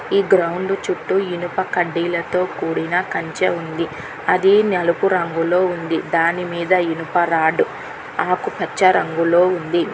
ఈ గ్రౌండ్ చుట్టూ ఇనుప కడ్డీలతో కూడిన కంచె ఉంది అది నలుపు రంగులో ఉంది దానిమీద ఇనుపరాడు ఆకుపచ్చ రంగులో ఉంది.